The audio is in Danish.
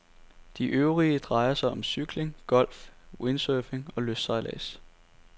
De øvrige drejer sig om cykling, golf, windsurfing og lystsejlads.